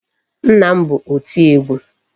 Nna m bụ oti egwu.